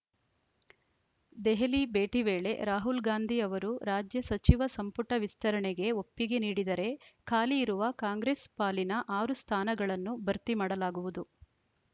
ದೆಹಲಿ ಭೇಟಿ ವೇಳೆ ರಾಹುಲ್‌ ಗಾಂಧಿ ಅವರು ರಾಜ್ಯ ಸಚಿವ ಸಂಪುಟ ವಿಸ್ತರಣೆಗೆ ಒಪ್ಪಿಗೆ ನೀಡಿದರೆ ಖಾಲಿ ಇರುವ ಕಾಂಗ್ರೆಸ್‌ ಪಾಲಿನ ಆರು ಸ್ಥಾನಗಳನ್ನು ಭರ್ತಿ ಮಾಡಲಾಗುವುದು